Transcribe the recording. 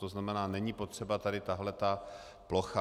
To znamená, není potřeba tady tato plocha.